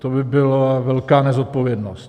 To by byla velká nezodpovědnost.